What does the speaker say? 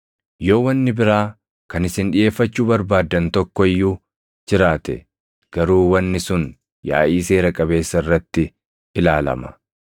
Yoo wanni biraa kan isin dhiʼeeffachuu barbaaddan tokko iyyuu jiraate garuu wanni sun yaaʼii seera qabeessa irratti ilaalama.